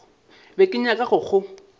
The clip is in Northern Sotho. be ke nyaka go go